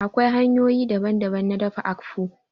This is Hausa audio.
Akwai hanyoyi daban daban na dafa àkpu